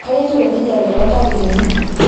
kai etiu enkijape to ntarikini